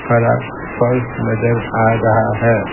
हरा फर्स नजर आ रहा है।